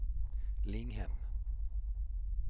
Linghem